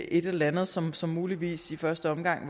eller andet som som muligvis i første omgang